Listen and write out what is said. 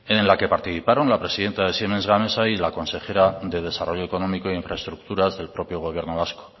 en la que participaron la presidenta de siemens gamesa y la consejera de desarrollo económico e infraestructuras del propio gobierno vasco